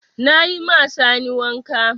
Na yi ma Sani wanka.